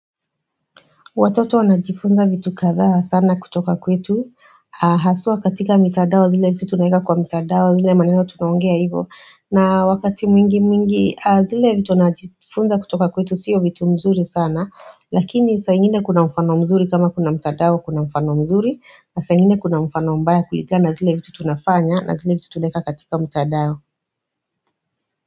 Watoto wanajifunza vitu kathaa sana kutoka kwetu Haswa katika mitandao zile vitu tunaeka kwa mitandao zile maeno tunongea hivo na wakati mwingi mwingi zile vitu wanajifunza kutoka kwetu siyo vitu mzuri sana Lakini saingine kuna mfano mzuri kama kuna mitandao kuna mfano mzuri Saingine kuna mfano mbaya kulingana zile vitu tunafanya na zile vitu tunaeka katika mitadao.